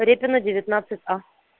репина девятнадцать а